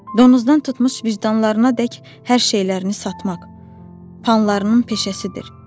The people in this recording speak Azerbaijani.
Donuzdan tutmuş vicdanlarınadək hər şeylərini satmaq panlarının peşəsidir.